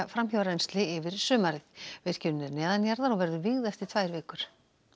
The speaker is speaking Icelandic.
framhjárennsli yfir sumarið virkjunin er neðanjarðar og verður vígð eftir tvær vikur